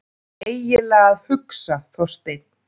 EIGINLEGA AÐ HUGSA, ÞORSTEINN!